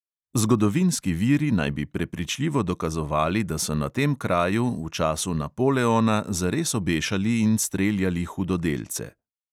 Zgodovinski viri naj bi prepričljivo dokazovali, da so na tem kraju v času napoleona zares obešali in streljali hudodelce.